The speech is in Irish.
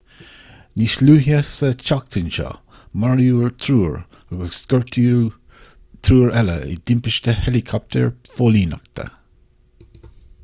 níos luaithe sa tseachtain seo maraíodh triúr agus gortaíodh triúr eile i dtimpiste héileacaptair phóilíneachta